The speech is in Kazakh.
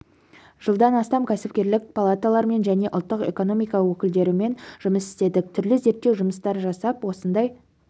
жылдан астам кәсіпкерлік палаталармен және ұлттық экономика өкілдерімен жұмыс істедік түрлі зерттеу жұмыстар жасап осындай